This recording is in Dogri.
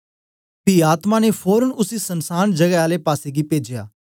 पी आत्मा ने फोरन उसी सनसांन जगै आले पासेगी पेजया